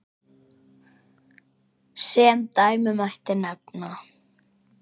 Sem dæmi mætti nefna